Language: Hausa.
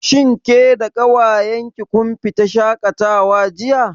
Shin ke da ƙawayen ki kun fita shaƙatawa jiya?